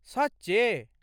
सच्चे!?